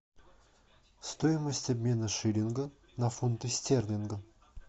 стоимость обмена шиллинга на фунты стерлинга